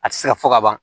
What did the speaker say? A tɛ se ka fɔ ka ban